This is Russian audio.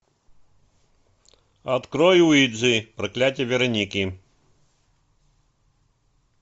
открой уиджи проклятие вероники